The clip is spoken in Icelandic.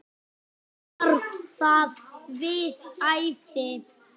Var það við hæfi?